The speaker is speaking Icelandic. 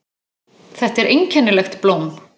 Þetta er einkennilegt blóm.